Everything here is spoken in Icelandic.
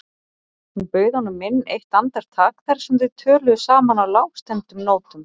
Hún bauð honum inn eitt andartak þar sem þau töluðu saman á lágstemmdum nótum.